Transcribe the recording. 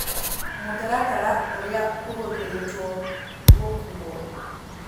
mũtaratara ũrĩa ũhũthĩrĩtwo gũkuo